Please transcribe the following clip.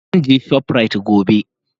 Zan je shoprite gobe.